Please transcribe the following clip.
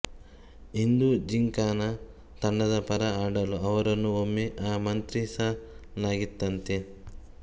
ಹಿಂದೂ ಜಿಂಕಾನ ತಂಡದ ಪರ ಆಡಲು ಅವರನ್ನು ಒಮ್ಮೆ ಆಮಂತ್ರಿಸಲಾಗಿತ್ತಂತೆ